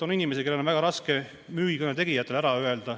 On inimesi, kellel on väga raske müügitöö tegijatele ära öelda.